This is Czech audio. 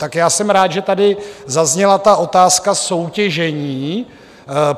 Tak já jsem rád, že tady zazněla ta otázka soutěžení.